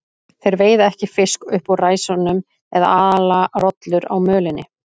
Þeir veiða ekki fisk upp úr ræsunum eða ala rollur á mölinni.